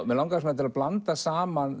mig langaði til að blanda saman